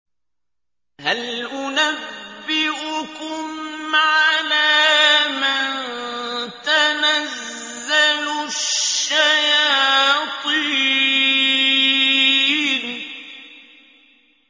هَلْ أُنَبِّئُكُمْ عَلَىٰ مَن تَنَزَّلُ الشَّيَاطِينُ